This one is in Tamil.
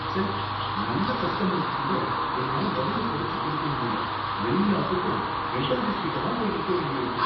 ச்சே! நல்ல கஸ்டமருக்கு கூட என்னால விலைய குறைச்சு கொடுக்க முடியல, எல்லாத்துக்கும் ஹெட் ஆஃபீஸ் கிட்ட தான் போய் நிக்க வேண்டியிருக்கு